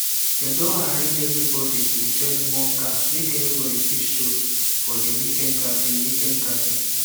dem don arrange everybody to join one car make everybody fit show for the weekend gathering weekend gathering